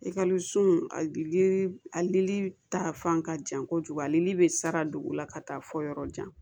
a lili ta fan ka jan kojugu ale bɛ sara dugu la ka taa fɔ yɔrɔ jan